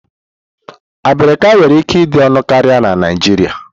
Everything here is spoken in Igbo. Abirika nwere ike ịdị ọnụ karịa na Naijiria.